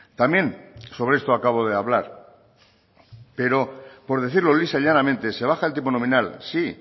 también sobre esto acabo de hablar pero por decirlo lisa y llanamente se baja el tipo nominal sí